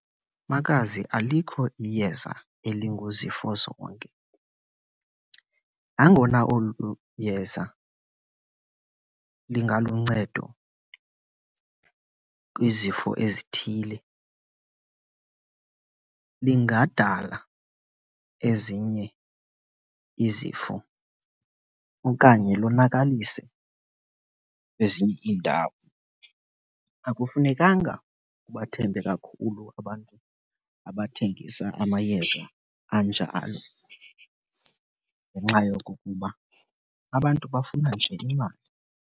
Makazi, alikho iyeza elinguzifozonke. Nangona olu yeza lingaluncedo kwizifo ezithile lingadala ezinye izifo okanye lonakalise kwezinye iindawo. Akufunekanga ubathembe kakhulu abantu abathengisa amayeza anjalo ngenxa yokokuba abantu bafuna nje imali.